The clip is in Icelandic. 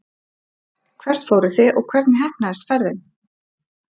Hvert fóruð þið og hvernig heppnaðist ferðin?